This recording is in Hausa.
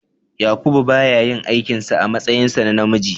Yakubu ba ya yin aikin sa a matsayinsa na namiji.